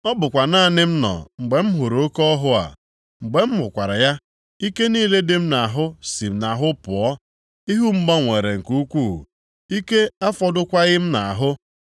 Ọ bụkwa naanị m nọ, mgbe m hụrụ oke ọhụ a. Mgbe m hụkwara ya, ike niile dị m nʼahụ si m nʼahụ pụọ. Ihu m gbanwere nke ukwuu, ike afọdụkwaghị m nʼahụ.